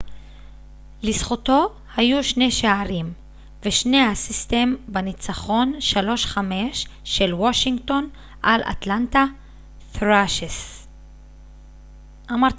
לזכותו היו 2 שערים ו-2 אסיסטים בניצחון 5 - 3 של וושינגטון על אטלנטה ת'ראשרס